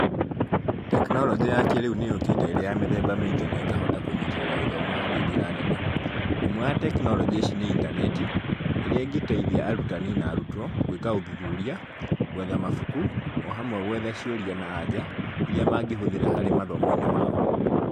Tekinoronjĩ ya kĩrĩu nĩ yũkĩte ĩrĩ ya mĩthemba mĩingĩ na ĩkahota kũnyitĩrira githomo harĩ njĩra nene. ĩmwe ya tekinoronjĩ ici nĩ intaneti, ĩrĩa ĩngĩteithia arutani na arutwo, gwĩka ũthuthuria, gwetha mabuku, o hamwe gwetha ciũria na anja, iria mangĩhũthĩra hari mathomo-inĩ mao.